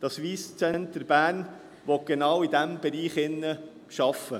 Das Wyss Centre Bern will genau in diesen Bereichen arbeiten.